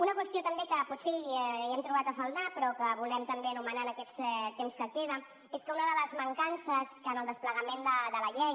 una qüestió també que potser hi hem trobat a faltar però que volem també anomenar en aquest temps que queda és que una de les mancances que en el desplegament de la llei